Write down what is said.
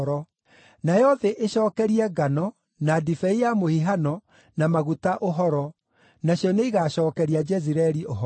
nayo thĩ ĩcookerie ngano, na ndibei ya mũhihano, na maguta ũhoro, nacio nĩigacookeria Jezireeli ũhoro.